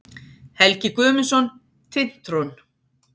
Helgi Guðmundsson, Tintron.